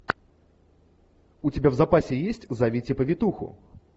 у тебя в запасе есть зовите повитуху